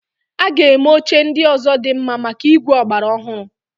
A ga-eme oche ndị ọzọ dị mma maka ígwè ọgbara ọhụrụ.